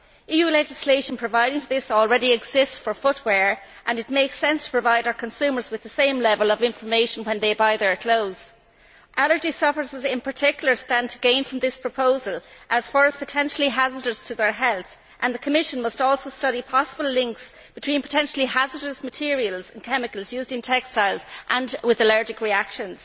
EU legislation providing for this already exists for footwear, and it makes sense to provide our consumers with the same level of information when they buy their clothes. Allergy sufferers in particular stand to gain from this proposal, as fur is potentially hazardous to their health, and the Commission must also study the possibility that potentially hazardous materials and chemicals used in textiles may lead to allergic reactions.